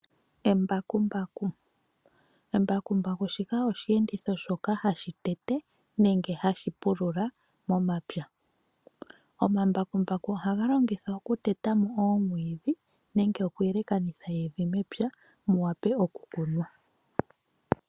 Embakumbaku, embakumbaku shika oshenditho shoka hashitete nenge hashipulula momapya, omambakumbaku oha ngalongithwa oku tetamo omwidhi nenge oku yelekanitha evi mepya muwape oku kunwa.